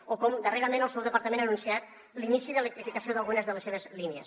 o com darrerament el seu departament ha anunciat l’inici d’electrificació d’algunes de les seves línies